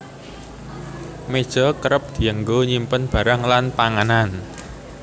Méja kerep dianggo nyimpen barang lan panganan